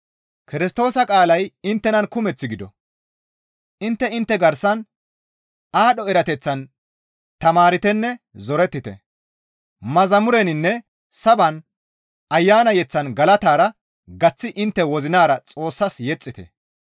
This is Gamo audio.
Kirstoosa qaalay inttenan kumeth gido; intte intte garsan aadho erateththan tamaartenne zorettite; mazamureninne saban Ayana yeththan galatara gaththi intte wozinara Xoossas yexxite.